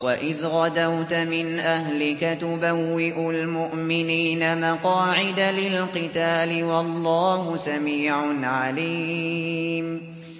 وَإِذْ غَدَوْتَ مِنْ أَهْلِكَ تُبَوِّئُ الْمُؤْمِنِينَ مَقَاعِدَ لِلْقِتَالِ ۗ وَاللَّهُ سَمِيعٌ عَلِيمٌ